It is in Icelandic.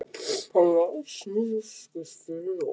Hann lagðist niður og skaut fyrir loku.